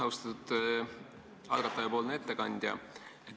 Austatud algatajapoolne ettekandja!